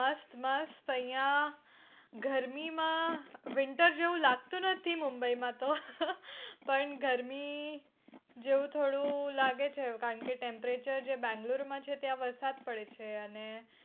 મસ્ત મસ્ત અયા ગરમી માં winter જેવું લાગતું નથી મુંબઈ માં તો પણ ગરમી જેવું થોડું લાગે છે કારણ કે temperature જે બેંગ્લોરમાં છે ત્યાં વરસાદ પડે છે અને